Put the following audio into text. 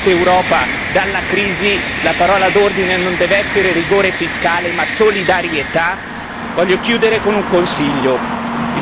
Quando vi accorgerete che per tirar fuori quest'Europa dalla crisi la parola d'ordine non deve essere rigore fiscale, ma solidarietà?